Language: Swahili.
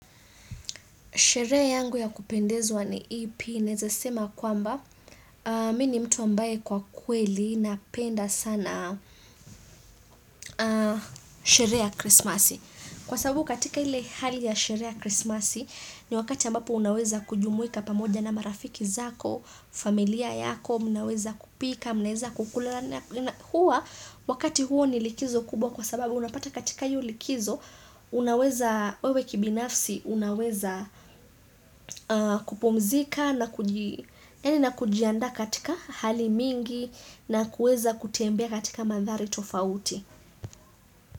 Sherehe yangu ya kupendezwa ni ipi, naweza sema kwamba, mi ni mtu ambaye kwa kweli napenda sana sherehe ya krisimasi. Kwa sababu katika ile hali ya sherehe ya krisimasi, ni wakati ambapo unaweza kujumuika pamoja na marafiki zako, familia yako, mnaweza kupika, mnaweza kukula na huwa Wakati huo ni likizo kubwa kwa sababu unapata katika hiyo likizo, wewe kibinafsi unaweza kupumzika na na kujiandaa katika hali mingi na kuweza kutembea katika mandhari tofauti.